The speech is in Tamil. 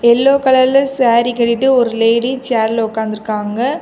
யெல்லோ கலர்ல சேரி கட்டிட்டு ஒரு லேடி சேர்ல உட்காந்துருக்காங்க.